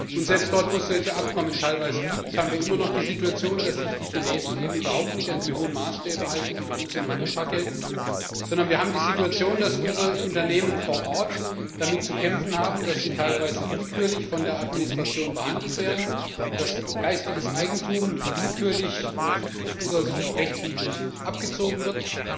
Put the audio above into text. Und selbst dort, wo es solche Abkommen teilweise gibt, haben wir immer noch die Situation, dass sich die Chinesen eben überhaupt nicht an die hohen Maßstäbe halten, die bei uns in Europa gelten, sondern dass unsere Unternehmen vor Ort damit zu kämpfen haben, dass sie teilweise willkürlich von der Administration behandelt werden, dass geistiges Eigentum willkürlich und aus unserer Sicht auch rechtswidrig abgezogen wird.